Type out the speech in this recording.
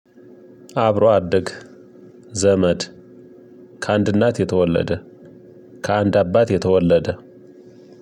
አብሮ አደግ ዘመድ ከአንድ እናት የተወለደ ከአንድ አባት የተወለደ